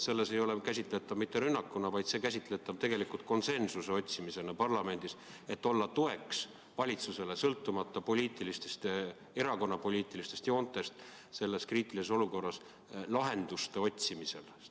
Seda ei maksa käsitada mitte rünnakuna, see on tegelikult käsitatav konsensuse otsimisena parlamendis, et olla sõltumata erakondade poliitilistest suundumustest selles kriitilises olukorras valitsusele toeks lahenduste otsimisel.